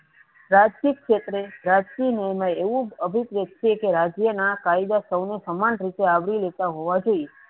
રાજકીય ક્ષેત્રે રાજકીય ન્યાયમાં એવું અભિપ્રેત છેકે રાજ્યના કાયદા સૌને સમાન રીતે આવરી લેતા હોવા જોઈએ